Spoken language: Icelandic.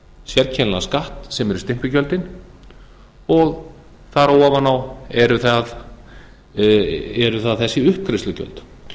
þennan sérkennilega skatt sem eru stimpilgjöldin og þar á ofan eru það þessi uppgreiðslugjöld það þarf